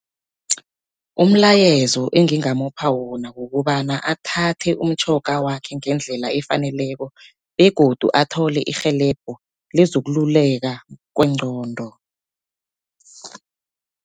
Umlayezo engingamupha wona, kukobana athathe umtjhoga wakhe ngendlela efaneleko begodu athole irhelebho lezokululeka kwengqondo.